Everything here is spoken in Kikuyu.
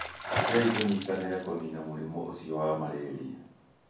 Rekei tũnyitanĩre kũniina mũrimũ ũcio wa malaria.